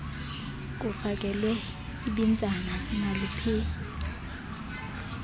kufakelwe ibinzana naluphi